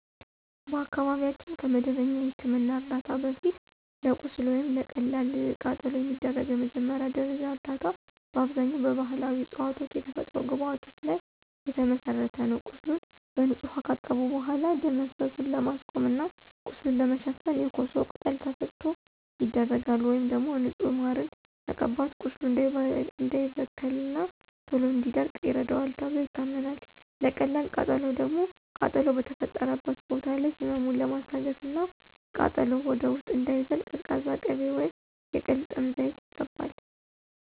በአካባቢያችን ከመደበኛ የሕክምና ዕርዳታ በፊት፣ ለቁስል ወይም ለቀላል ቃጠሎ የሚደረገው መጀመሪያ ደረጃ እርዳታ በአብዛኛው በባሕላዊ ዕፅዋትና የተፈጥሮ ግብዓቶች ላይ የተመሠረተ ነው። ቁስሉን በንጹህ ውኃ ካጠቡ በኋላ፣ ደም መፍሰሱን ለማስቆም እና ቁስሉን ለመሸፈን የኮሶ ቅጠል ተፈጭቶ ይደረጋል። ወይም ደግሞ ንጹህ ማርን መቀባት ቁስሉ እንዳይበከልና ቶሎ እንዲደርቅ ይረዳዋል ተብሎ ይታመናል። ለቀላል ቃጠሎ ደግሞ ቃጠሎው በተፈጠረበት ቦታ ላይ ህመሙን ለማስታገስና ቃጠሎው ወደ ውስጥ እንዳይዘልቅ ቀዝቃዛ ቅቤ ወይም የቅልጥም ዘይት ይቀባል።